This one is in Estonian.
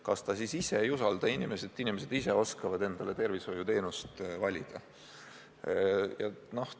Kas ta siis ei usalda inimesi, et nood ise oskavad endale tervishoiuteenuse valida?